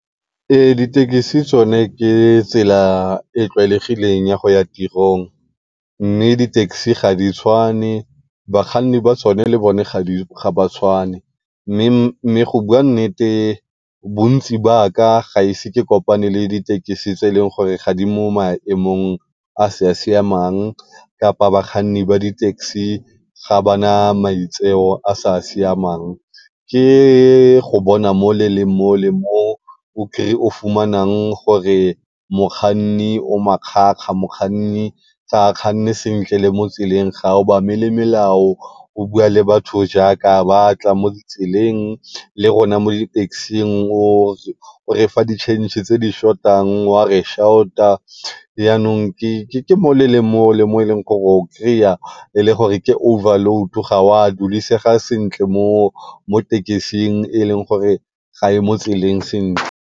Ee, ditekesi tsone ke tsela e tlwaelegileng ya go ya tirong, mme di-taxi ga di tshwane bakganni ba tsone le bone ga ba tshwane. Mme go bua nnete bontsi jwa ka gaise ke kopane le di-taxi tse e leng gore ga di mo maemong a sa siamang kapa bakganni ba di-taxi ga ba na maitseo a sa siamang. Ke go bona mo le le mo le mo o fumanang gore mokganni o makgakga, mokganni ga a kganne le sentle mo tseleng ga a obamele melao o bua le batho jaaka a batla mo ditseleng le rona mo di-taxi-ng o re fa di tšhentšhe tse di short-ang jaanong ke mo le le mo le mo e leng gore o kry-a e le gore ke overload ga wa dulesega sentle taxi-ng e e leng gore ga e mo tseleng sentle.